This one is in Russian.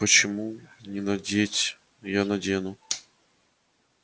почему не надеть я надену